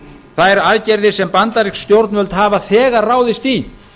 þær aðgerðir sem bandarísk stjórnvöld hafa þegar ráðist í